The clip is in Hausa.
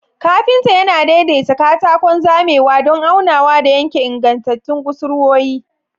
Kafinta yana daidaita katakon zamewa don aunawa da yanke ingantattun kusurwoyi.